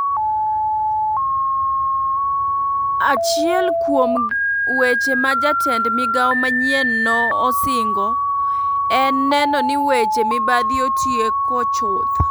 Achuiel kuom weche ma jatend migao manyien no osingo en neno ni weche mibadhi otieko chuth.